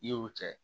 I y'o kɛ